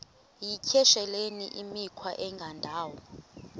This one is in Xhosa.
yityesheleni imikhwa engendawo